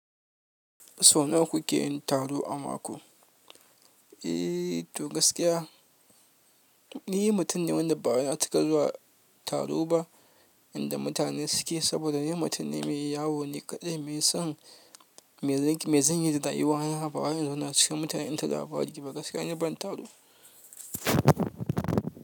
Sau nawa kuke yin taro a mako? To gaskiya ni mutum ne wanda ba ya cika zuwa taro ba inda mutane suke, saboda ni mutum ne mai yawo ne kaɗai, mai son zanyi dayuwa na, ba wai in zauna l cikin mutane, inta labari ba gaskiya ni ban taro.